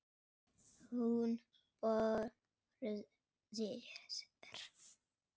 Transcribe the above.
Hún brosir.